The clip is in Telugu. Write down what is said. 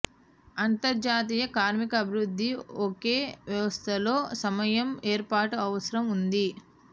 అంతర్జాతీయ కార్మిక అభివృద్ధి ఒకే వ్యవస్థలో సమయం ఏర్పాట్లు అవసరం ఉంది